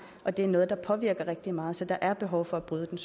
og det er noget der påvirker rigtig meget så der er behov for at bryde den